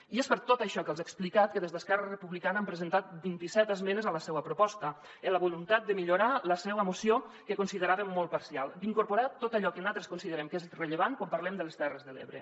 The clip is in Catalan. i és per tot això que els he explicat que des d’esquerra republicana hem presen·tat vint·i·set esmenes a la seua proposta amb la voluntat de millorar la seua moció que consideràvem molt parcial d’incorporar·hi tot allò que nosaltres considerem que és rellevant quan parlem de les terres de l’ebre